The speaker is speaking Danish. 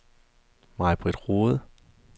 Majbrit Roed